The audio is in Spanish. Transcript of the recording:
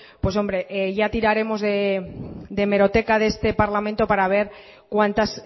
pues hombre ya tiraremos de hemeroteca de este parlamento para ver cuántas